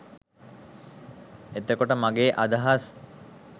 එතකොට මගේ අදහස්